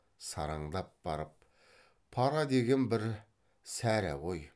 сараңдап барып пара деген бір сәрі ғой